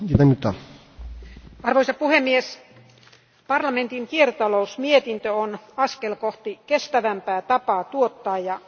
Arvoisa puhemies, parlamentin kiertotalousmietintö on askel kohti kestävämpää tapaa tuottaa ja kuluttaa tavaroita.